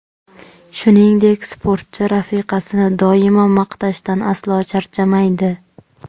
Shuningdek, sportchi rafiqasini doimo maqtashdan aslo charchamaydi.